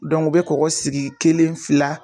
u be kɔkɔ sigi kelen fila